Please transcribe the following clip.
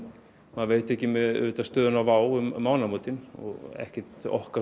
maður veit ekki með stöðuna á Wow um mánaðamótin og ekki okkar